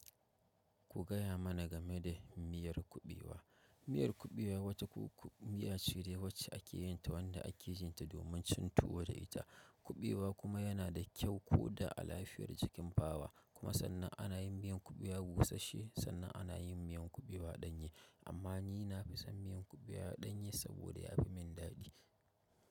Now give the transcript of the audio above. Ku gaya mana game da miyar kuɓewa. Miyar kuɓewa wata miya ce da yawanci ake yin ta wanda ake yin ta domin cin tuwo da ita. Kuɓewa kuma yana da kyau ko da a lafiyar jikin bawa. Kuma sannan ana yin miyan kuɓewa busashe, sannan ana yin miyan kuɓewa ɗanye. Amma ni na fi son miyan kuɓewa ɗanye saboda ya fi min daɗi.